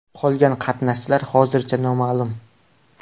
Qolgan qatnashchilar hozircha noma’lum.